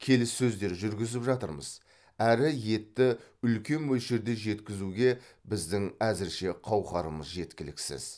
келіссөздер жүргізіп жатырмыз әрі етті үлкен мөлшерде жеткізуге біздің әзірше қауқарымыз жеткіліксіз